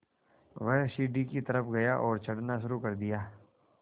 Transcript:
वह सीढ़ी की तरफ़ गया और चढ़ना शुरू कर दिया